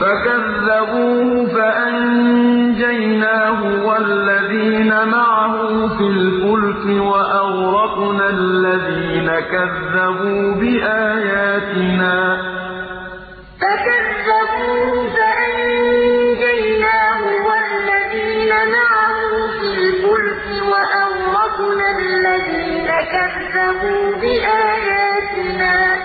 فَكَذَّبُوهُ فَأَنجَيْنَاهُ وَالَّذِينَ مَعَهُ فِي الْفُلْكِ وَأَغْرَقْنَا الَّذِينَ كَذَّبُوا بِآيَاتِنَا ۚ إِنَّهُمْ كَانُوا قَوْمًا عَمِينَ فَكَذَّبُوهُ فَأَنجَيْنَاهُ وَالَّذِينَ مَعَهُ فِي الْفُلْكِ وَأَغْرَقْنَا الَّذِينَ كَذَّبُوا بِآيَاتِنَا ۚ